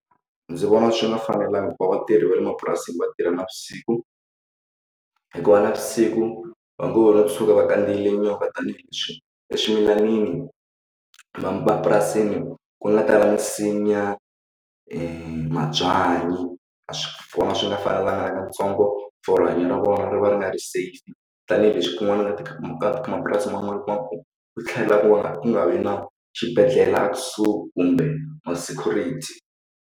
Ndzi vona swi nga fanelanga ku va vatirhi va le mapurasini va tirha navusiku hikuva navusiku va ngo va va tshuka va khandziyile nyoka tanihileswi eswimilanini mapurasini ku nga tala misinya e mabyanyi a swi ni nga fanelanga katsongo for rihanyo ra vona ri va ri nga ri safe tanihileswi kun'wana ka tikhampani mapurasi man'wana ma kota ku thlela ku va nga ku nga vi na xibedhlele a kusuhi kumbe ma security.